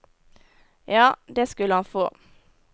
Ja, det skulle han få.